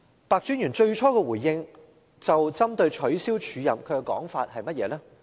白專員最初就取消署任的回應是怎樣呢？